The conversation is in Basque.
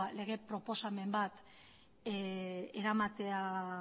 lege proposamen bat eramatea